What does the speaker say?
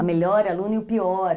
A melhor aluna e o pior.